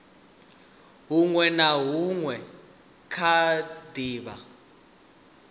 hunwe na hunwe kha davhi